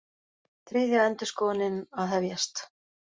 Þriðja endurskoðunin að hefjast